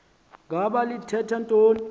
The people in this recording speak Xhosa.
ngaba lithetha ntoni